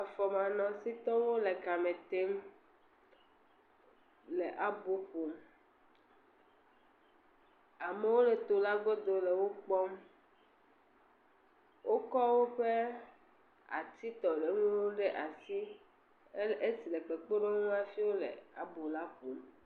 Afɔmanɔsitɔwo le ka me tem le abo ƒom. Amewo le to la godo le wokpɔm, wokɔ woƒe atitɔɖeŋuiwo ɖe asi, esi le kpekpeɖewoŋu hafi wole abo la ƒom.